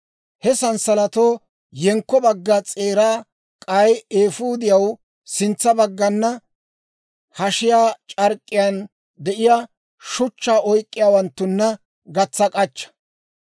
He sanssalatatoo yenkko bagga s'eeraa k'ay eefuudiyaw sintsa baggana, hashiyaa c'ark'k'iyaan de'iyaa shuchchaa oyk'k'iyaawanttunna gatsa k'achcha.